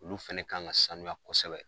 Olu fɛnɛ kan ka sanuya kɔsɛbɛ.